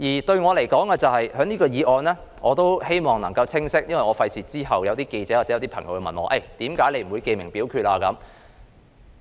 對我而言，我希望就這項議案清晰說明一點，以免之後有記者或朋友問我為何我不要求記名表決。